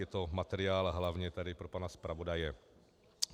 Je to materiál - hlavně tedy pro pana zpravodaje.